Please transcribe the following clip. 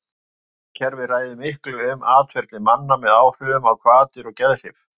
randkerfið ræður miklu um atferli manna með áhrifum á hvatir og geðhrif